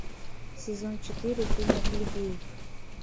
сезон четыре фильма плебей